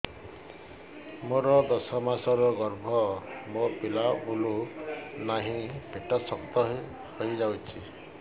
ମୋର ଦଶ ମାସର ଗର୍ଭ ମୋ ପିଲା ବୁଲୁ ନାହିଁ ପେଟ ଶକ୍ତ ହେଇଯାଉଛି